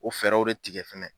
O fɛɛrɛw de tigɛ fɛnɛ.